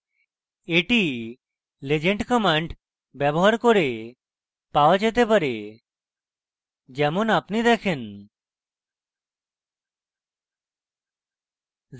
এটি legend legend command ব্যবহার করে পাওয়া যেতে পারে যেমন আপনি দেখেন